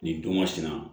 Nin don masina